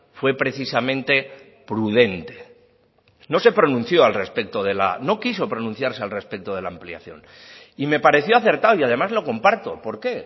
fue precisamente prudente no se pronunció al respecto de la no quiso pronunciarse al respecto de la ampliación y me pareció acertado y además lo comparto por qué